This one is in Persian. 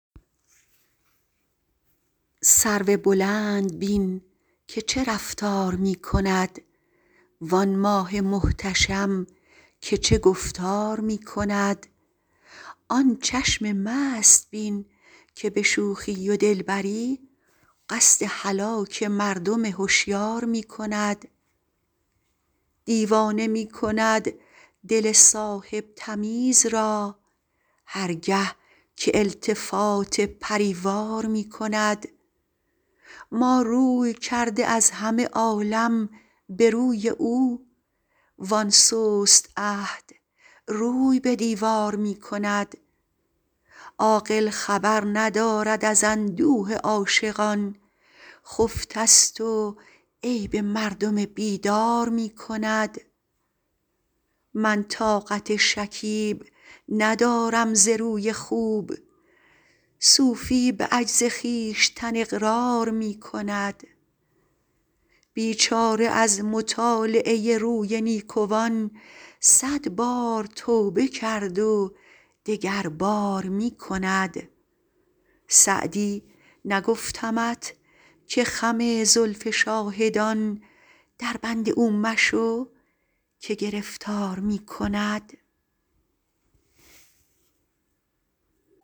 سرو بلند بین که چه رفتار می کند وآن ماه محتشم که چه گفتار می کند آن چشم مست بین که به شوخی و دلبری قصد هلاک مردم هشیار می کند دیوانه می کند دل صاحب تمیز را هر گه که التفات پری وار می کند ما روی کرده از همه عالم به روی او وآن سست عهد روی به دیوار می کند عاقل خبر ندارد از اندوه عاشقان خفته ست و عیب مردم بیدار می کند من طاقت شکیب ندارم ز روی خوب صوفی به عجز خویشتن اقرار می کند بیچاره از مطالعه روی نیکوان صد بار توبه کرد و دگربار می کند سعدی نگفتمت که خم زلف شاهدان دربند او مشو که گرفتار می کند